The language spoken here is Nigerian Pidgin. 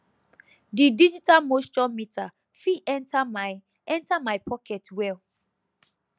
di digital moisture meter fit enter my enter my pocket well